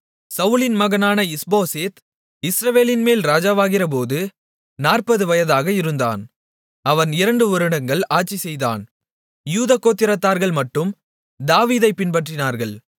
சவுலின் மகனான இஸ்போசேத் இஸ்ரவேலின்மேல் ராஜாவாகிறபோது 40 வயதாக இருந்தான் அவன் இரண்டுவருடங்கள் ஆட்சி செய்தான் யூதா கோத்திரத்தார்கள் மட்டும் தாவீதைப் பின்பற்றினார்கள்